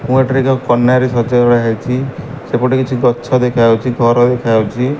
ଏବଂ ଏଠାରେ ଏକ କନ୍ୟାରେ ସଜ ଭଳିଆ ହେଇଚି। ସେପଟେ କିଛି ଗଛ ଦେଖା ହୋଉଚି। ଘର ଦେଖା ହୋଉଛି।